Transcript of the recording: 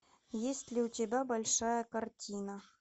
есть ли у тебя большая картина